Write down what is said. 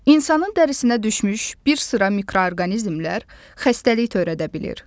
İnsanın dərisinə düşmüş bir sıra mikroorqanizmlər xəstəlik törədə bilir.